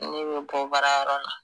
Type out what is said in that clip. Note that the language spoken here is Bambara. Ne be bɔ baarayɔrɔ la